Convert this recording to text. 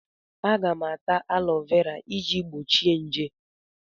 Aga m ata alọvera iji gbochie nje.